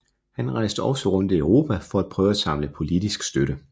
Han rejste også rundt i Europa for at prøve at samle politisk støtte